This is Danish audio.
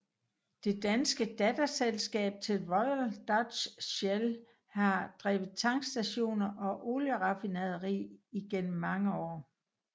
Det danske datterselskab til Royal Dutch Shell har drevet tankstationer og olieraffinaderi i gennem mange år